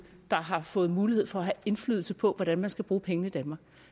der har fået mulighed for at have indflydelse på hvordan man skal bruge pengene i danmark